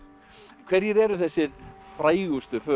hverjir eru þessir frægustu